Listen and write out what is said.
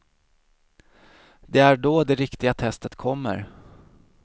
Det är då det riktiga testet kommer.